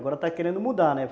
Agora está querendo mudar, né?